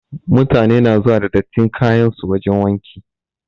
Mutane na zuwa da dattin kayan su wajen wanki.